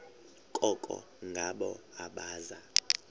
koko ngabo abaza